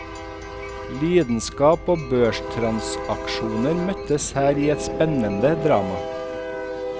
Lidenskap og børstransaksjoner møtes her i et spennende drama.